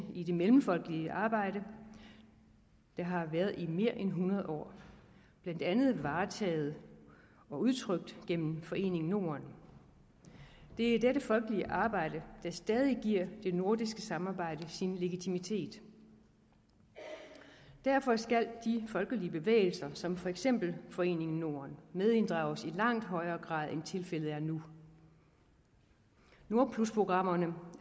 i det mellemfolkelige arbejde der har været i mere end hundrede år blandt andet varetaget af og udtrykt gennem foreningen norden det er dette folkelige arbejde der stadig giver det nordiske samarbejde sin legitimitet derfor skal de folkelige bevægelser som for eksempel foreningen norden medinddrages i langt højere grad end tilfældet er nu nordplusprogrammerne